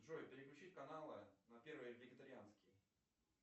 джой переключить каналы на первый вегетарианский